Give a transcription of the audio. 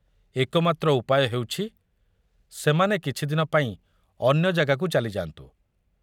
ଏକମାତ୍ର ଉପାୟ ହେଉଛି ସେମାନେ କିଛିଦିନ ପାଇଁ ଅନ୍ୟଜାଗାକୁ ଚାଲିଯାନ୍ତୁ।